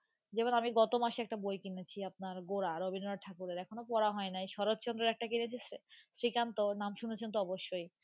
যেমন আমি গত মাসে একটা বই কিনেছি আপনার গোরা রবীন্দ্রনাথ ঠাকুরের এখনও পড়া হয় নাই। শরৎচন্দ্রের একটা কিনেছি শ্রীকান্ত নাম শুনেছেন তো অবশ্যই,